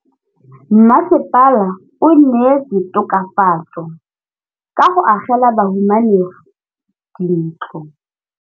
Mmasepala o neetse tokafatsô ka go agela bahumanegi dintlo.